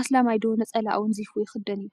አስላማይ ዶ ነፀላ አወንዚፉ ይክደን እዩ?